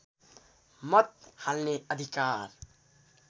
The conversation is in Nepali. मत हाल्ने अधिकार